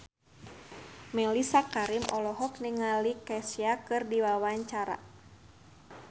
Mellisa Karim olohok ningali Kesha keur diwawancara